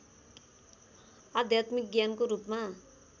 आध्यात्मिक ज्ञानको रूपमा